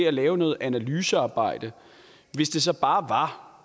at lave noget analysearbejde